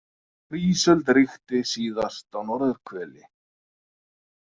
Þegar ísöld ríkti síðast á norðurhveli.